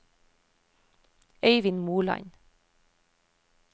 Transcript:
Øivind Moland